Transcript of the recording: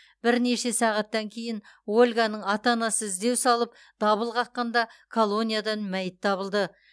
бірнеше сағаттан кейін ольганың ата анасы іздеу салып дабыл қаққанда колониядан мәйіт табылды